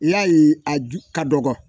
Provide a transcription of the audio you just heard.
Yali a ju ka dɔgɔ